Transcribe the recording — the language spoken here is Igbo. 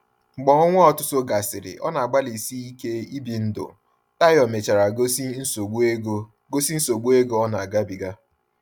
Mgbe ọnwa ọtụtụ gasịrị ọ na-agbalịsi ike ibi ndụ, Tayo mechara gosi nsogbu ego gosi nsogbu ego ọ na-agabiga.